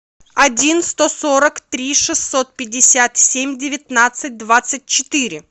один сто сорок три шестьсот пятьдесят семь девятнадцать двадцать четыре